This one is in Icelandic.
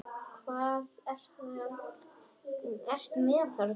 Hvað ertu með þarna?